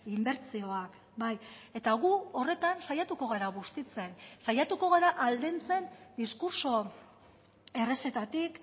inbertsioak bai eta gu horretan saiatuko gara bustitzen saiatuko gara aldentzen diskurtso errezetatik